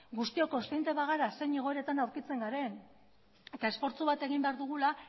guztiok kontziente bagara zein egoeretan aurkitzen garen eta esfortzu bat egin behar dugula